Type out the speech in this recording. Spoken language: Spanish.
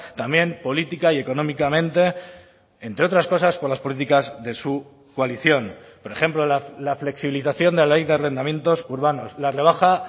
también política y económicamente entre otras cosas por las políticas de su coalición por ejemplo la flexibilización de la ley de arrendamientos urbanos la rebaja